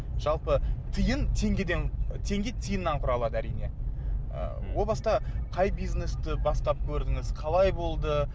жалпы тиын теңгеден теңге тиыннан құралады әрине ы о баста қай бизнесті бастап көрдіңіз қалай болды